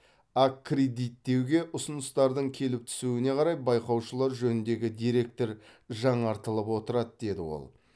аккредиттеуге ұсыныстардың келіп түсуіне қарай байқаушылар жөніндегі деректер жаңартылып отырады деді ол